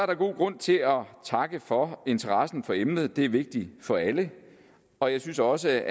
der god grund til at takke for interessen for emnet det er vigtigt for alle og jeg synes også